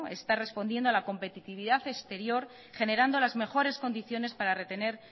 está respondiendo a la competitividad exterior generando las mejores condiciones para retener